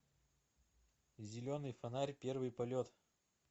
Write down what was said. зеленый фонарь первый полет